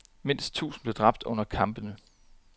Mindst tusind blev dræbt under kampene.